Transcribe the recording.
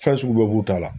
Fɛn sugu bɛɛ b'u ta la